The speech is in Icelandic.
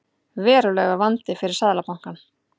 Verulegur vandi fyrir Seðlabankann